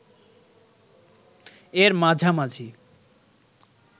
এর মাঝামাঝি